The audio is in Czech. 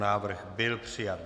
Návrh byl přijat.